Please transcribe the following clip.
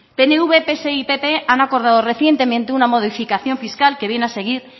pnv pse y pp han acordado recientemente una modificación fiscal que viene a seguir